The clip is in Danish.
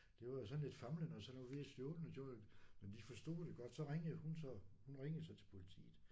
Det var jo sådan lidt famlende og sådan noget vi er stjålen og sådan men de forstod det godt så ringede hun hun ringede så til politiet